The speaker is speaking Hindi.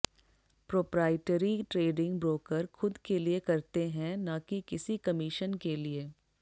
प्रोप्राइटरी ट्रेडिंग ब्रोकर खुद के लिए करते हैं न कि किसी कमीशन के लिए